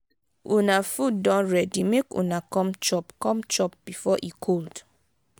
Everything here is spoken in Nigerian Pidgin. una food don ready make una come chop come chop before e cold